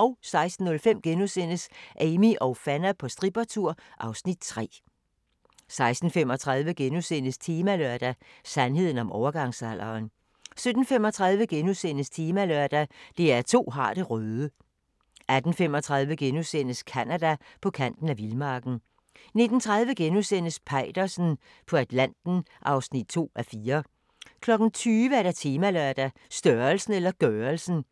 16:05: Amie og Fanna på strippertur (Afs. 3)* 16:35: Temalørdag: Sandheden om overgangsalderen * 17:35: Temalørdag: DR2 har det røde * 18:35: Canada: På kanten af vildmarken * 19:30: Peitersen på Atlanten (2:4)* 20:00: Temalørdag: Størrelsen eller gørelsen?